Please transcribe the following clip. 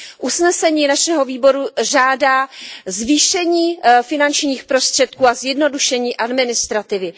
Usnesení našeho výboru žádá zvýšení finančních prostředků a zjednodušení administrativy.